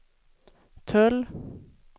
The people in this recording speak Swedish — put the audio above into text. tull